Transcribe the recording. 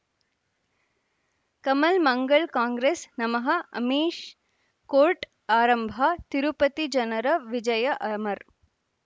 ಕಮಲ್ ಮಂಗಳ್ ಕಾಂಗ್ರೆಸ್ ನಮಃ ಅಮಿಷ್ ಕೋರ್ಟ್ ಆರಂಭ ತಿರುಪತಿ ಜನರ ವಿಜಯ ಅಮರ್